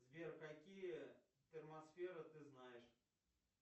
сбер какие термосферы ты знаешь